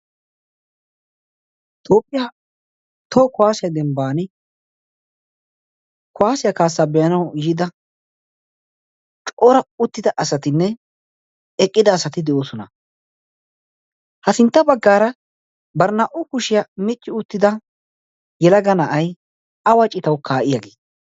tophphiyaa too kuwaasiyaa dembban kuwaasiyaa kaassaa be7anawu yida coora uttida asatinne eqqida asati de7oosona. ha sintta baggaara bari naa77u kushiyaa micci uttida yelaga na7ai awa citawu kaa7i yaage?